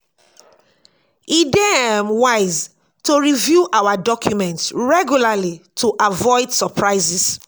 e dey um wise to review our documents regularly to avoid surprises.